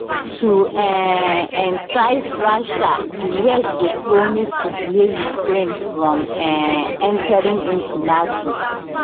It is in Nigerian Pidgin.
to um entice russia di west go promise to delay ukraine from um entering into nato